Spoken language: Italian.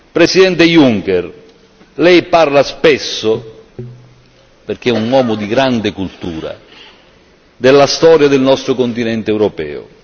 Presidente Juncker, Lei parla spesso perché è un uomo di grande cultura della storia del nostro continente europeo.